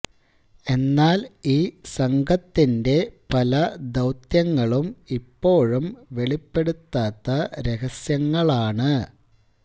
എന്നാല് ഈ സംഘത്തിന്റെ പല ദൌത്യങ്ങളും ഇപ്പോഴും വെളിപ്പെടുത്താത്ത രഹസ്യങ്ങളാണ്